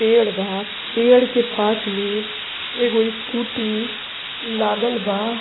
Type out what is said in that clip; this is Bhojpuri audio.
पेड़ बा पेड़ के पास में एगो स्कूटी लागल बा।